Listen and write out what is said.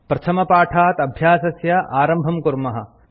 प्रथमपाठात् अभ्यासस्य आरम्भं कुर्मः